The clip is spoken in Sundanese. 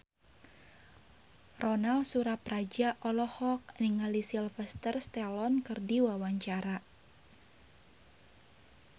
Ronal Surapradja olohok ningali Sylvester Stallone keur diwawancara